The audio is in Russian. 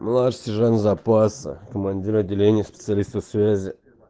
младший сержант запаса командир отделения специалистов связи